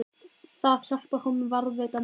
Það hjálpar honum að varðveita minninguna.